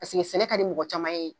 Paseke sɛnɛ ka di mɔgɔ caman ye